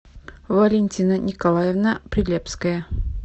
валентина николаевна прилепская